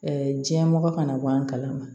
diɲɛmɔgɔ kana bɔ an kalama